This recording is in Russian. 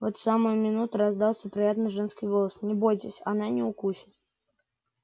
в эту самую минуту раздался приятный женский голос не бойтесь она не укусит